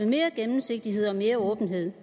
mere gennemsigtighed og mere åbenhed